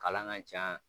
Kalan ka ca